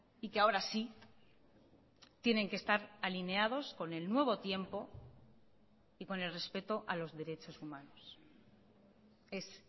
y que ahora sí tienen que estar alineados con el nuevo tiempo y con el respeto a los derechos humanos es